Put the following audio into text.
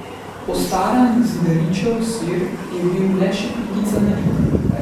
Postaran Zidaričev sir je bil le še pikica na i.